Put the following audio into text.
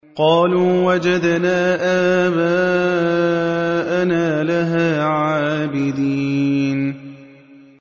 قَالُوا وَجَدْنَا آبَاءَنَا لَهَا عَابِدِينَ